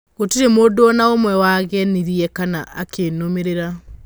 Gũtirĩ mũndũona ũmwe wanegenire kana akĩnũmĩrĩra.